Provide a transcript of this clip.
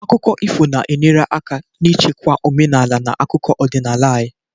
Akụkọ ifo na-enyere aka n'ichekwa omenala na akụkọ ọdịnala anyị